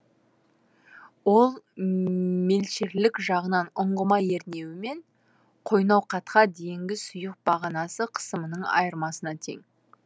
ол мелшерлік жағынан ұңғыма ернеуі мен қойнауқатқа дейінгі сұйық бағанасы қысымының айырмасына тең